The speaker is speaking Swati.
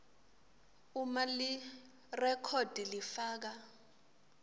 uma lirekhodi lifaka